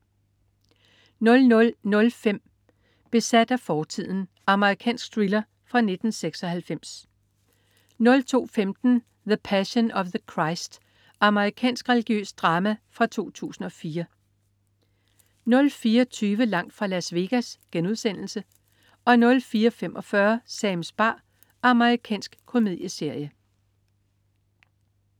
00.05 Besat af fortiden. Amerikansk thriller fra 1996 02.15 The Passion of the Christ. Amerikansk religiøst drama fra 2004 04.20 Langt fra Las Vegas* 04.45 Sams bar. Amerikansk komedieserie